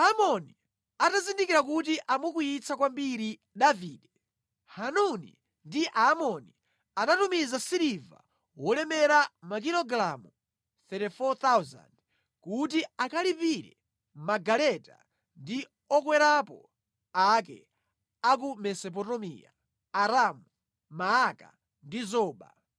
Aamoni atazindikira kuti amukwiyitsa kwambiri Davide, Hanuni ndi Aamoni anatumiza siliva wolemera makilogalamu 34,000 kuti akalipirire magaleta ndi okwerapo ake a ku Mesopotamiya; Aramu-Maaka ndi Zoba.